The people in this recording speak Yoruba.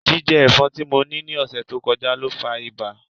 Jijẹ ẹfọn ti mo ni ni ọsẹ to kọja lo fa iba.